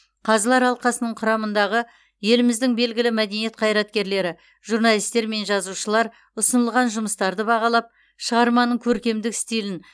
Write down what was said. қазылар алқасының құрамындағы еліміздің белгілі мәдени қайраткерлері журналистер мен жазушылар ұсынылған жұмыстарды бағалап шығарманың көркемдік стилін